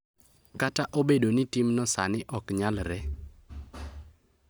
Kata obedo ni timno sani ok nyalre,